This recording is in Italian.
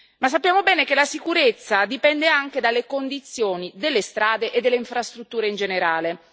Ma sappiamo bene che la sicurezza dipende anche dalle condizioni delle strade e delle infrastrutture in generale.